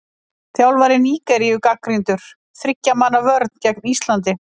Þjálfari Nígeríu gagnrýndur- Þriggja manna vörn gegn Íslandi?